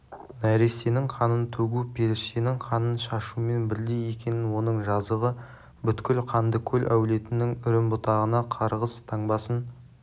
нәрестенің қанын төгу періштенің қанын шашумен бірдей екенін оның жазығы бүткіл қандықол әулетінің үрім-бұтағына қарғыс таңбасын